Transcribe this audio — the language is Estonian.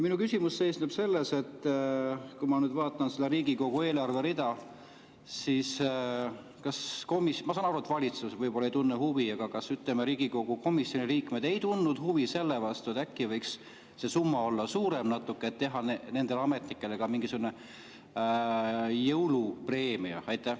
Minu küsimus seisneb selles, et kui ma nüüd vaatan seda Riigikogu eelarve rida, ma saan aru, et valitsus võib-olla ei tunne huvi, aga kas, ütleme, Riigikogu komisjoni liikmed ei tundnud huvi selle vastu, et äkki võiks see summa olla natuke suurem, et teha nendele ametnikele ka mingisugune jõulupreemia?